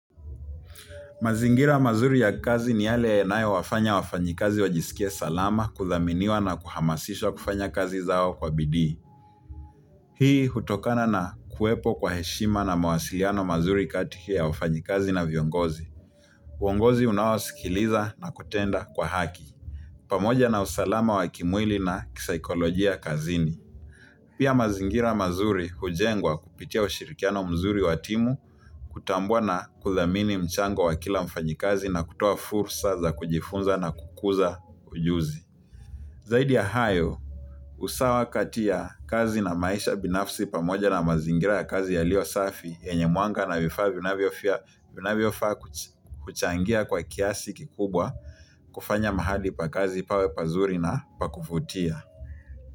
Mazingira mazuri ya kazi ni yale yanayo wafanya wafanyikazi wajisikie salama, kuthaminiwa na kuhamasishwa kufanya kazi zao kwa bidii. Hii hutokana na kuwepo kwa heshima na mawasiliano mazuri kati ya wafanyikazi na viongozi. Uongozi unaosikiliza na kutenda kwa haki. Pamoja na usalama wa kimwili na kisaikolojia kazini. Pia mazingira mazuri hujengwa kupitia ushirikiano mzuri wa timu kutambua na kuthamini mchango wa kila mfanyikazi na kutoa fursa za kujifunza na kukuza ujuzi. Zaidi ya hayo, usawa kati ya kazi na maisha binafsi pamoja na mazingira ya kazi yaliyo safi yenye mwanga na vifaa vinavyofaa kuchangia kwa kiasi kikubwa kufanya mahali pa kazi pawe pazuri na pa kuvutia.